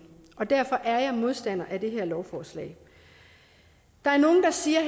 derfor er jeg modstander af det her lovforslag der er nogle der siger